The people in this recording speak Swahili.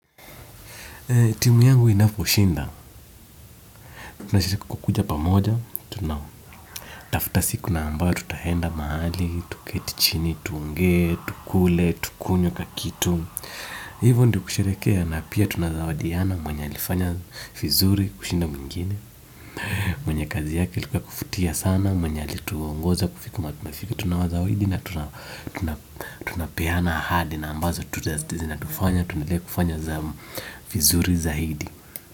Timu yangu inapo shinda, tunashiriki kukuja pamoja, tunatafuta siku na ambayo tutaenda mahali, tuketi chini, tuonge, tukule, tukunywe kakitu. Hivyo ndio kushereheke, napia tunazawadiana mwenye alifanya vizuri kushinda mwingine. Mwenye kazi yake ilikuwa yakuvutia sana, mwenye alituongoza kufika mahali tumefika, tunawazawidi na tunapeana ahadi na ambazo tuta zina tufanya, tuendele kufanya za vizuri zaidi.